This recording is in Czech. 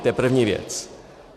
To je první věc.